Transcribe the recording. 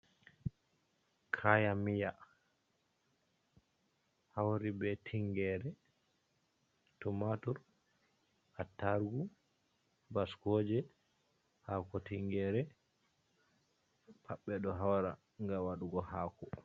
Kayan miya hauri be tingere, tumatur, attarugu, baskoje, hako tingere pat ɓeɗo hawra nga waɗugo hako.